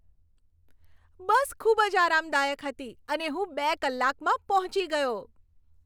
બસ ખૂબ જ આરામદાયક હતી અને હું બે કલાકમાં પહોંચી ગયો.